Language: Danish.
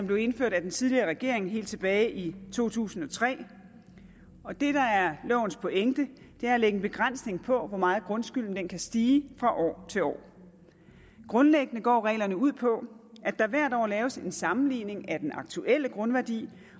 blev indført af den tidligere regering helt tilbage i to tusind og tre og det der er lovens pointe er at lægge en begrænsning på hvor meget grundskylden kan stige fra år til år grundlæggende går reglerne ud på at der hvert år laves en sammenligning af den aktuelle grundværdi